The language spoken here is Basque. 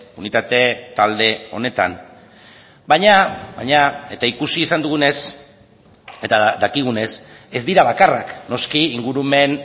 unitate talde honetan baina baina eta ikusi izan dugunez eta dakigunez ez dira bakarrak noski ingurumen